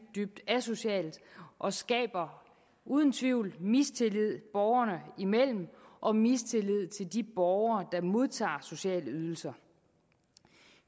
dybt asocialt og skaber uden tvivl mistillid borgerne imellem og mistillid til de borgere der modtager sociale ydelser